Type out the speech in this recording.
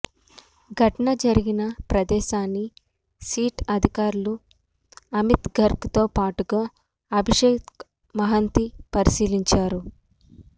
ఘటన జరిగిన ప్రదేశాన్ని సిట్ అధికారులు అమిత్ గార్గ్ తో పాటుగా అభిషేక్ మహంతి పరిశీలించారు